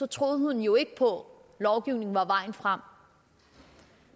troede hun jo ikke på at lovgivning var vejen frem